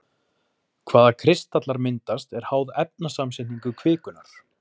hvaða kristallar myndast er háð efnasamsetningu kvikunnar